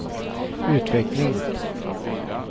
utveckling